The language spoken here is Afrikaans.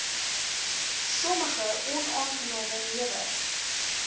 sommige onaangename newe